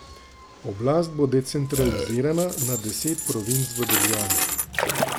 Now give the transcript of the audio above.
Oblast bo decentralizirana na deset provinc v državi.